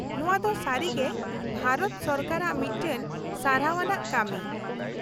-ᱱᱚᱶᱟ ᱫᱚ ᱥᱟᱹᱨᱤᱜᱮ ᱵᱷᱟᱨᱚᱛ ᱥᱚᱨᱠᱟᱨᱟᱜ ᱢᱤᱫᱴᱟᱝ ᱥᱟᱨᱦᱟᱣ ᱟᱱᱟᱜ ᱠᱟᱹᱢᱤ ᱾